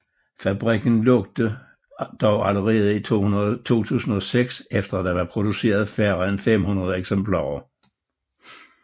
Fabrikken lukkede dog allerede 2006 efter at der var produceret færre end 500 eksemplarer